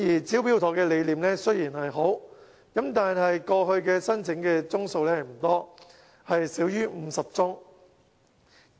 "招標妥"的理念雖好，但過去申請宗數不多，少於50宗。